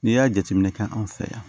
N'i y'a jateminɛ kɛ an fɛ yan